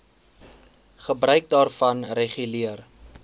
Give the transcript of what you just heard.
gebruik daarvan reguleer